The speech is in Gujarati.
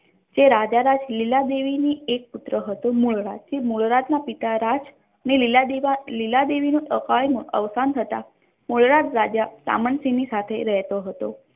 તે રાજ તે રાજા રાજ લીલા દેવીની એકનો એક પુત્ર હતો મૂળરાજ મૂળરાજ ના પિતા ને લીલા દેવી લીલા દેવીનું અકાળમાં અવસાન થતાં રાજા સામંતસિંહની સાથે રહેતો હતો.